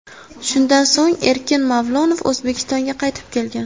Shundan so‘ng Erkin Mavlonov O‘zbekistonga qaytib kelgan.